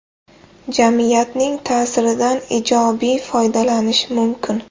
Jamiyatning ta’siridan ijobiy foydalanish mumkin.